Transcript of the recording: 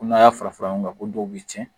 Ko n'a y'a fara fara ɲɔgɔn kan ko dɔw bɛ tiɲɛ